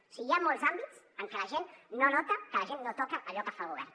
o sigui hi ha molts àmbits en què la gent no nota en què la gent no toca allò que fa el govern